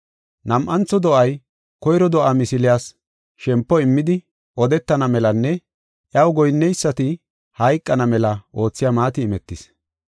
Nam7antho do7ay koyro do7aa misiliyas shempo immidi odetana melanne iyaw goyinnonaysati hayqana mela oothiya maati imetis.